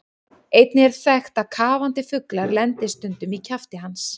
Einnig er þekkt að kafandi fuglar lendi stundum í kjafti hans.